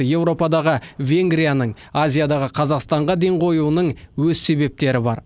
еуропадағы венгрияның азиядағы қазақстанға ден қоюының өз себептері бар